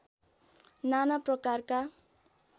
नाना प्रकारका